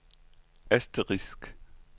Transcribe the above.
asterisk